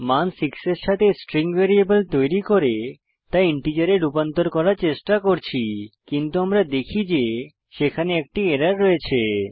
মান 6 এর সাথে স্ট্রিং ভ্যারিয়েবল তৈরী করে তা ইন্টিজারে রূপান্তর করার চেষ্টা করছি কিন্তু আমরা দেখি যে সেখানে একটি এরর রয়েছে